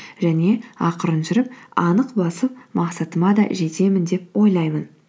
және ақырын жүріп анық басып мақсатыма да жетемін деп ойлаймын